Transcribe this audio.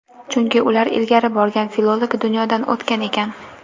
Chunki ular ilgari borgan filolog dunyodan o‘tgan ekan.